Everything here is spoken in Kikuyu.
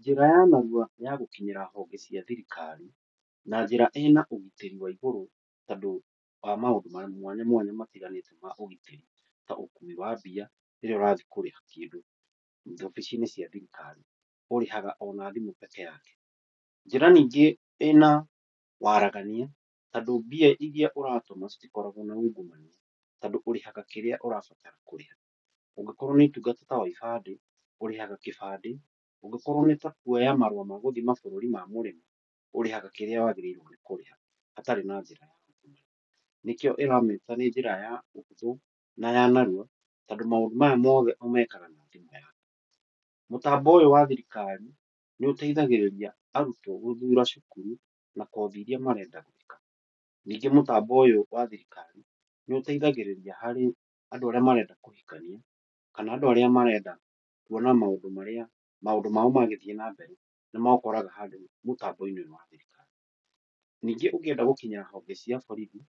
Njĩra ya narua ya gũkinyĩra honge cia thirikari na njĩra ĩna ũgitĩri wa igũrũ, tondũ wa maũndũ mwanya mwanya matiganĩte ma ũgitĩri, ta ũkui wa mbia rĩrĩa ũrathiĩ kũriha kĩndũ wabici-inĩ cia thirikari, ũrĩhaga ona thimũ peke yake. Njĩra nyingĩ ĩna waaragania tondũ mbia irĩa ũratũma citikoragwo na ungumania. Tondũ ũrĩhaga kĩrĩa ũrabatara kũrĩha. Ũngĩkorwo nĩ ũtungata ta wa ibandĩ ũrĩhaga kĩbandĩ, ũngĩkorwo nĩ ta kuoya maratathi ma gũthiĩ mũrĩmo, ũrĩhaga kĩrĩa waagĩrĩirwo nĩ kũrĩha hatarĩ, nĩkĩo ĩramĩta nĩ njĩra ya ũhũthũ na ya narua, tondũ maũndũ maya mothe ũmekaga na thimũ. Mũtambo ũyũ wa thirikari nĩ ũteithagĩrĩria arutwo gũthura cukuru na kothi irĩa marenda gwĩka. Ningĩ mũtambo ũyũ wa thirikari nĩ ũteithagĩrĩria harĩ andũ arĩa marenda kũhikania, kana andũ arĩa marenda kuona maũndũ mao magĩthiĩ na mbere. Nĩ maũkoraga handũ mũtambo-inĩ ũyũ wa thirikari. Ningĩ ũngĩenda gũkinyĩra borithi